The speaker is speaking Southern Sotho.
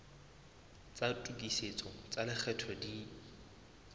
tsa tokisetso tsa lekgetho di